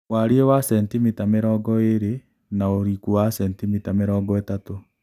warie wa centimita mĩrongoĩrĩ na ũrikũ wa centimita mĩrongo ĩtatu